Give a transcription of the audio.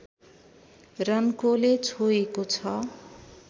रन्कोले छोएको छ